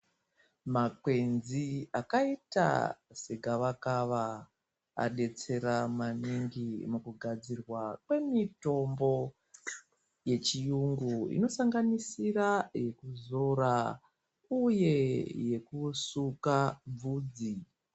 Makwenzi akaita segavakava adetsera maningi mukugadzirwa kwemitombo yechiyungu inosanganisira yekuzora uye yekusuka bvudzi.